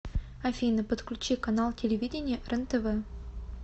афина подключи канал телевидения рентв